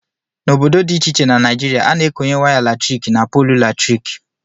N' ọbọdọ dị ịche ịche na naịjịrịa a na- ekọnye waya latrịkị n' pọọlụ latrịkị.